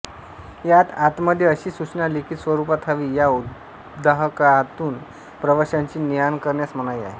यात आतमध्ये अशी सूचना लिखित स्वरूपात हवी या उद्वाहकातून प्रवाश्यांची नेआण करण्यास मनाई आहे